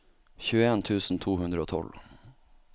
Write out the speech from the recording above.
tjueen tusen to hundre og tolv